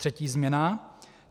Třetí změna.